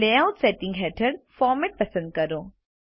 layout settings હેઠળ format પસંદ કરો